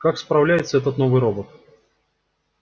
как справляется этот новый робот